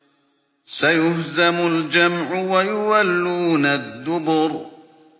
سَيُهْزَمُ الْجَمْعُ وَيُوَلُّونَ الدُّبُرَ